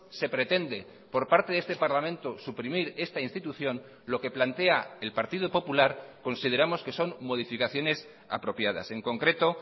se pretende por parte de este parlamento suprimir esta institución lo que plantea el partido popular consideramos que son modificaciones apropiadas en concreto